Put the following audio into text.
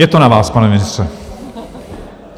Je to na vás, pane ministře.